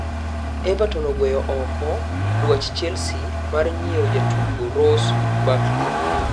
Everton ogweyo ooko dwach Chelsea mar nyiewo jatugo Ross Barkley